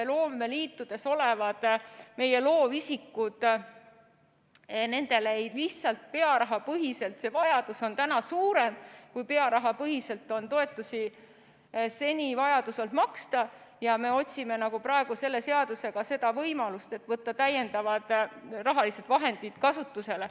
Loomeliitudes olevatel loovisikutel on see vajadus suurem, kui pearahapõhiselt on seni toetusi makstud, ja me otsime praegu selle seadusega võimalust võtta täiendavad rahalised vahendid kasutusele.